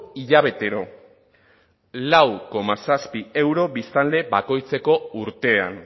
hilabetero lau koma zazpi euro biztanle bakoitzeko urtean